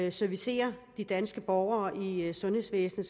at servicere de danske borgere i sundhedsvæsenet